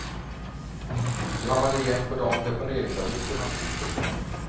Det har man igen på de deponeringsavgifter man slipper.